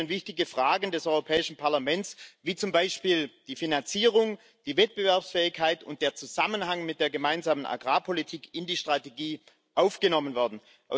Nur so können wichtige Fragen des Europäischen Parlaments wie zum Beispiel die Finanzierung, die Wettbewerbsfähigkeit und der Zusammenhang mit der Gemeinsamen Agrarpolitik in die Strategie aufgenommen werden.